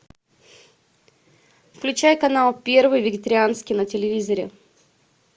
включай канал первый вегетарианский на телевизоре